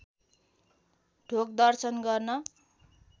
ढोग दर्शन गर्न